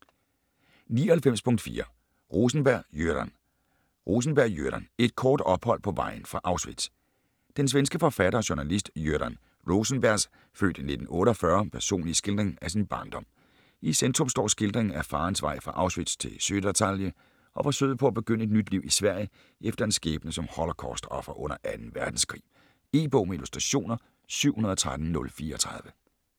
99.4 Rosenberg, Göran Rosenberg, Göran: Et kort ophold på vejen fra Auschwitz Den svenske forfatter og journalist Göran Rosenbergs (f. 1948) personlige skildring af sin barndom. I centrum står skildringen af farens vej fra Auschwitz til Södertalje og forsøget på at begynde et nyt liv i Sverige efter en skæbne som holocaust-offer under 2. verdenskrig. E-bog med illustrationer 713034 2013.